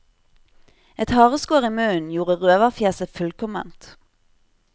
Et hareskår i munnen gjorde røverfjeset fullkomment.